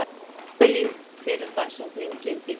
Avelín, hver er dagsetningin í dag?